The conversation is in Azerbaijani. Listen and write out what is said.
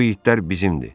Bu itlər bizimdir.